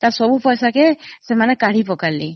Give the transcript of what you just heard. ସବୁ ପଇସା କୁ ସେମାନେ କାଢି ପକାଇଲେ ।